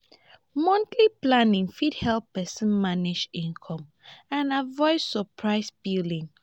monthly planning fit help person manage income and avoid surprise billing